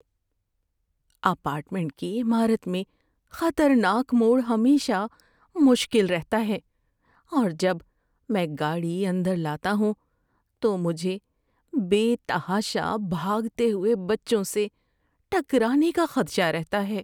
Apartment کی عمارت میں خطرناک موڑ ہمیشہ مشکل رہتا ہے اور جب میں گاڑی اندر لاتا ہوں تو مجھے بے تحاشا بھاگتے ہوئے بچوں سے ٹکرانے کا خدشہ رہتا ہے۔